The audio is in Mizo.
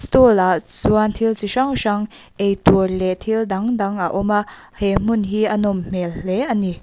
ah chuan thil ti hrang hrang eitur leh thil dang dang a awm a he hmun hi a nawm hmel hle a ni.